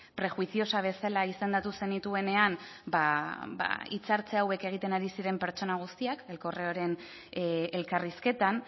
prejuiciosa bezala izendatu zenituenean hitzartze hauek egiten ari ziren pertsona guztiak el correoren elkarrizketan